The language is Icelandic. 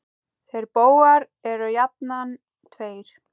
Þeir bógar eru jafnan tveir.